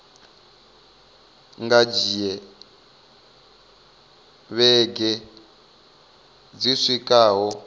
nga dzhia vhege dzi swikaho